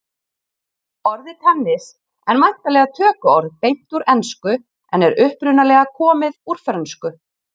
Orðið tennis en væntanlega tökuorð beint úr ensku en er upprunalega komið úr frönsku.